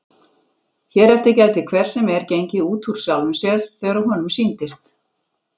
Hér eftir gæti hver sem er gengið út úr sjálfum sér þegar honum sýndist.